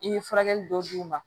I ye furakɛli dɔw d'u ma